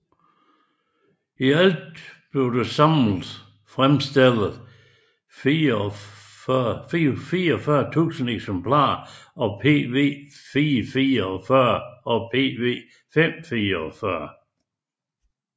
I alt blev der samlet fremstillet 440000 eksemplarer af PV444 og PV544